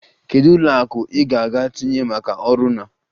Kedu ụlọ akụ ị ga-etinye maka ọrụ na?